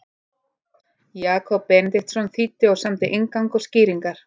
Jakob Benediktsson þýddi og samdi inngang og skýringar.